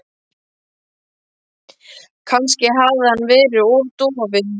Kannski hafði hann verið of dofinn.